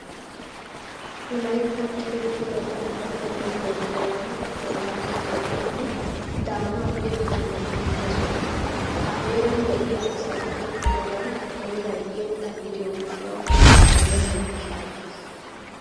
Wolayttan erettida Daamoota deriya heeray xeellanawu lo'iyanne daanawu irxxanne injje soho. Ha heeran de'iya asay tokkidobay heeray irxxa gidiyo gishshawu melennan shaacces.